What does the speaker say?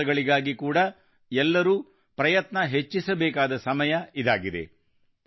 ಈ ಕೆಲಸಗಳಿಗಾಗಿ ಕೂಡಾ ಎಲ್ಲರೂ ಪ್ರಯತ್ನ ಹೆಚ್ಚಿಸಬೇಕಾದ ಸಮಯ ಇದಾಗಿದೆ